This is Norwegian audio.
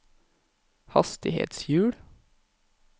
hastighetshjul